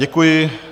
Děkuji.